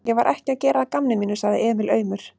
Ég var ekki að gera að gamni mínu, sagði Emil aumur.